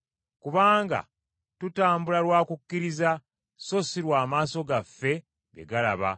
Kubanga tutambula lwa kukkiriza so si lw’amaaso gaffe bye galaba.